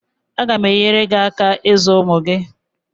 Aga m enyere gị aka ịzụ ụmụ gị.